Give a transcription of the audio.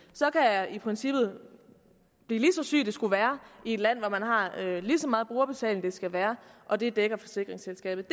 så kan jeg i princippet blive lige så syg det skulle være i et land hvor man har lige så meget brugerbetaling det skulle være og det dækker forsikringsselskabet